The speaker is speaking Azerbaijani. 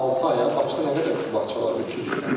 Altı aya başqa nə qədər bağça var? 300.